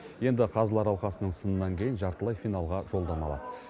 енді қазылар алқасының сынынан кейін жартылай финалға жолдама алады